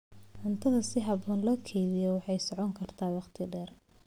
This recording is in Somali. Cuntada si habboon loo kaydiyo waxay socon kartaa waqti dheer.